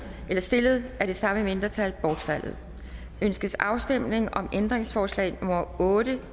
stillet af det samme mindretal bortfaldet ønskes afstemning om ændringsforslag nummer otte